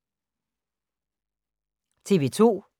TV 2